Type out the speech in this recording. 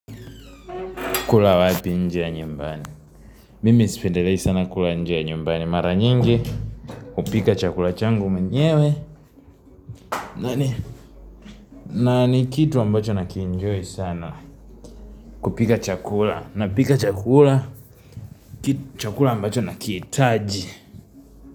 Kula wapi nje ya nyumbani Mimi sipendelei sana kula nje ya nyumbani Mara nyingi kupika chakula changu mwenyewe na ni kitu ambacho nakienjoy sana kupika chakula na pika chakula Chakula ambacho na kihitaji.